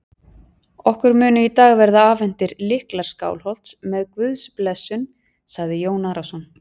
Okkur munu í dag verða afhentir lyklar Skálholts með Guðs blessun, sagði Jón Arason.